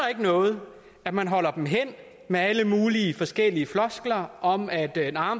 ikke noget at man holder dem hen med alle mulige forskellige floskler om at